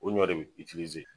O ɲɔ de be